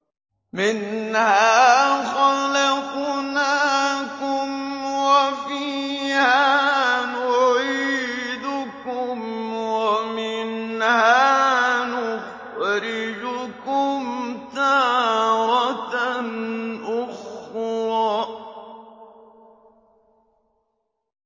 ۞ مِنْهَا خَلَقْنَاكُمْ وَفِيهَا نُعِيدُكُمْ وَمِنْهَا نُخْرِجُكُمْ تَارَةً أُخْرَىٰ